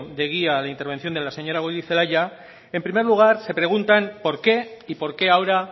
de guía a la intervención de la señora goirizelaia en primer lugar se preguntan por qué y por qué ahora